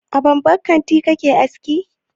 A babban kanti kake aski?